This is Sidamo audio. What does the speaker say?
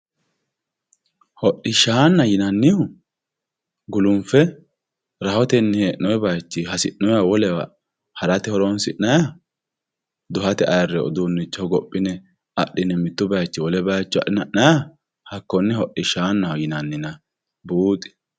Hodhishana yinanihu gulunfe rahotenni hendoyi bayichiyi hasinoyi wolewa harate horonsinaha guhaye ayirewi udunicho hogopine adhine mittu bayichi wole bayicho adhine haniyiha hakine hidhishanaho yinaninna buxi